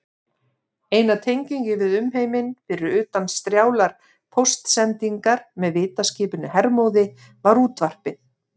Eina tengingin við umheiminn, fyrir utan strjálar póstsendingar með vitaskipinu Hermóði, var útvarpið.